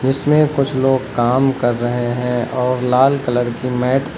इसमें कुछ लोग काम कर रहे हैं और लाल कलर की मैट --